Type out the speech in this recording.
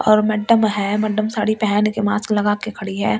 और मैडम है मैडम साड़ी पहन के मास्क लगा के खड़ी है और।